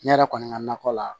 Ne yɛrɛ kɔni ka nakɔ la